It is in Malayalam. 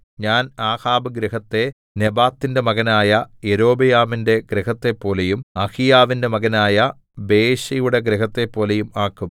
ഞാൻ ആഹാബ് ഗൃഹത്തെ നെബാത്തിന്റെ മകനായ യൊരോബെയാമിന്റെ ഗൃഹത്തെപ്പോലെയും അഹീയാവിന്റെ മകനായ ബയെശയുടെ ഗൃഹത്തെപ്പോലെയും ആക്കും